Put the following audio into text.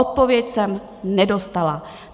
Odpověď jsem nedostala.